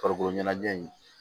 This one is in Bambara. Farikolo ɲɛnajɛ in